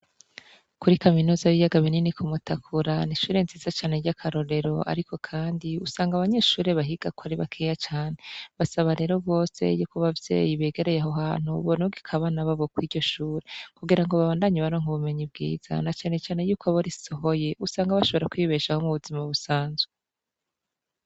Kuri kaminuza y'ibiyaga binini kumutakura n'ishure nziza cane ry'akarorero ariko kandi usanga abanyeshure bahigako ari bakeya cane, basaba rero bose yuko abavyeyi begereye aho hantu borungika abana babo kuriryo shuri kugira babandanye baronka ubumenyi bwiza na canecane yuko abo risohoye bashobora kwibeshaho mubuzima busanzwe.